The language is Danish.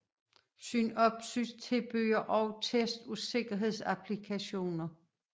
Synopsys tilbyder også test af sikkerhedsapplikationer